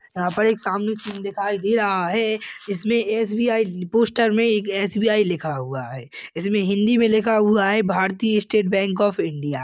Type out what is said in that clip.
यहाँ पर एक सामने सीन दिखाई दे रहा है इसमें एस_बी _आई पोस्टर में एक एस_बी_आई लिखा हुआ है इसमें हिंदी में लिखा हुआ है भारतीय स्टेट बैंक ऑफ़ इंडिया ।